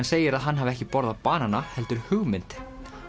segir að hann hafi ekki borðað banana heldur hugmynd